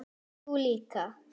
Þú líka?